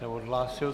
Neodhlásil.